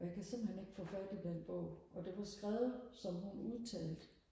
og jeg kan simpelthen ikke få fat i den bog og det var skrevet som hun udtalte